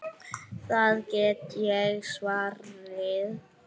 Það get ég svarið.